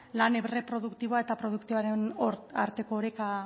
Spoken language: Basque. lan erreproduktiboa eta produktiboaren arteko oreka